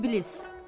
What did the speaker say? İblis.